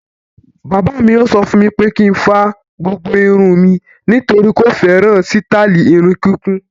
Bàbá mi yóò sọ fún mi pé kí n fa gbogbo irun mi nítorí kò fẹ́ràn sítáálì irun kíkún.